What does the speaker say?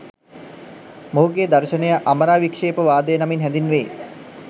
මොහුගේ දර්ශනය අමරාවික්ෂේපවාදය නමින් හැඳින්වේ.